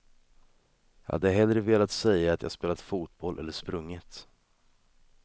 Jag hade hellre velat säga att jag spelat fotboll eller sprungit.